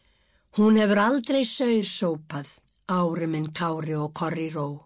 hún hefur aldrei saur sópað ári minn Kári og